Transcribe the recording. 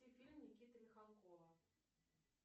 фильм никиты михалкова